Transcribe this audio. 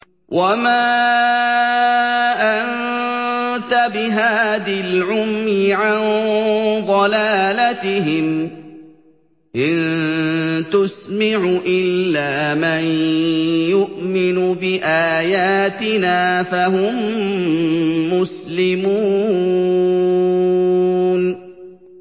وَمَا أَنتَ بِهَادِي الْعُمْيِ عَن ضَلَالَتِهِمْ ۖ إِن تُسْمِعُ إِلَّا مَن يُؤْمِنُ بِآيَاتِنَا فَهُم مُّسْلِمُونَ